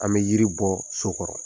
An bɛ yiri bɔ so kɔrɔ